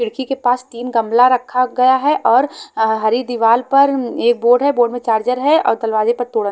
खिड़की के पास तीन गमला रखा गया है और अ हरी दीवाल पर अम्म ये बोर्ड है बोर्ड में चार्जर है और दरवाजे पर तोड़ा--